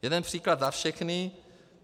Jeden příklad za všechny.